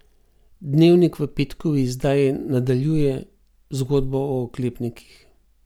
Dnevnik v petkovi izdaji nadaljuje zgodbo o oklepnikih.